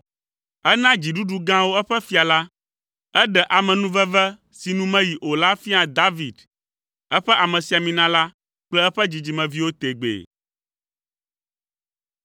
Ena dziɖuɖu gãwo eƒe fia la; eɖe amenuveve si nu meyi o la fia David, eƒe amesiamina la kple eƒe dzidzimeviwo tegbee.